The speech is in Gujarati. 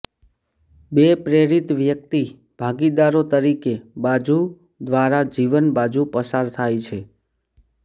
બે પ્રેરિત વ્યક્તિ ભાગીદારો તરીકે બાજુ દ્વારા જીવન બાજુ પસાર થાય છે